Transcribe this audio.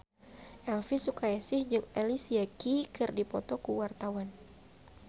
Elvi Sukaesih jeung Alicia Keys keur dipoto ku wartawan